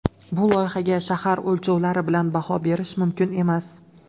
Bu loyihaga shahar o‘lchovlari bilan baho berish mumkin emas.